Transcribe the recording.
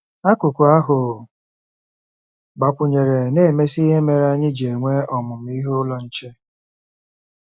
Akụkụ ahụ a gbakwụnyere na-emesi ihe mere anyị ji enwe Ọmụmụ Ihe Ụlọ Nche.